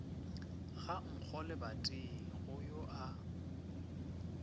ga nkgo lebating go a